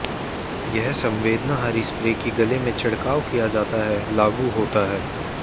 यह संवेदनाहारी स्प्रे कि गले में छिड़काव किया जाता है लागू होता है